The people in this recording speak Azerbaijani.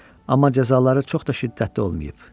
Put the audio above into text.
Amma cəzaları çox da şiddətli olmayıb.